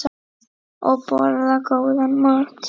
Og borða góðan mat.